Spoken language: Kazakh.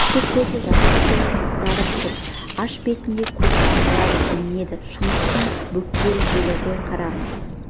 екі көзі жасқа толып қызарып тұр аш бетінде көк тамырлары білінеді шыңғыстың бөктер желі ғой қарағым